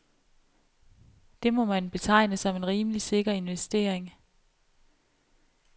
Det må man betegne som en rimelig sikker investering.